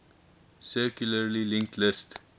circularly linked list